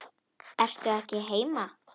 Ertu ekki heima?